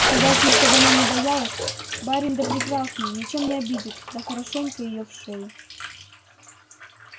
сказать ей чтоб она не боялась барин да прекрасный ничем не обидит да хорошенько её в шею